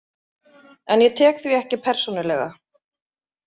En ég tek því ekki persónulega.